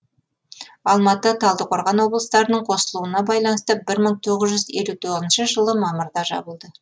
алматы талдықорған облыстарының қосылуына байланысты бір мың тоғыз жүз елу тоғызыншы жылы мамырда жабылды